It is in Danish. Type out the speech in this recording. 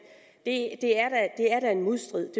det er da i modstrid